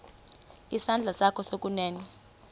isandla sakho sokunene